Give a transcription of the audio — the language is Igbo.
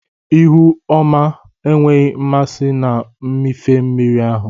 Ihu ọma enweghị mmasị na mmịfe mmiri ahụ.